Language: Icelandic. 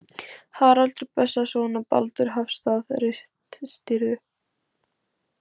Haraldur Bessason og Baldur Hafstað ritstýrðu.